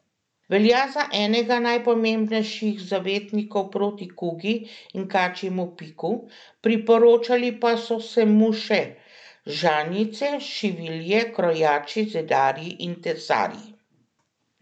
Velja za enega najpomembnejših zavetnikov proti kugi in kačjemu piku, priporočali pa so se mu še žanjice, šivilje, krojači, zidarji in tesarji.